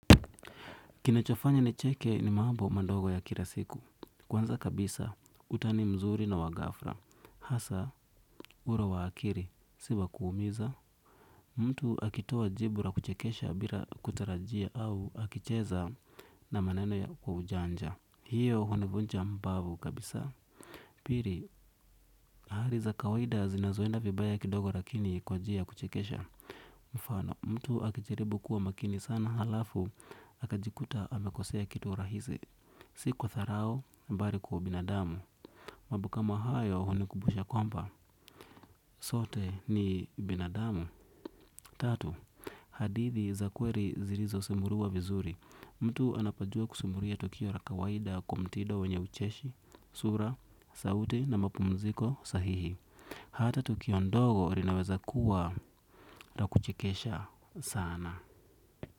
Kinechofanya ni cheke ni maambo mandogo ya kilasiku. Kwanza kabisa, utani mzuri na wagafra. Hasa, uro wa akiri, siwa kuumiza. Mtu akitua jibura kuchekesha bila kutarajia au akicheza na maneno ya kwa ujanja. Hiyo hunivunja mbavu kabisa. Piri, hariza kawaida zinazoenda vibaya kidogo lakini kwa jia kuchekesha. Mfano, mtu akichiribu kuwa makini sana halafu akajikuta amekosea kitu rahizi. Si mwa dharau bali kwa ubinadamu. Mambo kama hayo hunikumbusha kwamba sote ni binadamu. Tatu hadithi za kweli zilizo simuliwa vizuri. Mtu anapojua kusimulia tukio la kawaida kwa mtindo wenye ucheshi sura, sauti na mapumziko sahihi ata tukio ndogo linaweza kuwa la kuchekesha sana.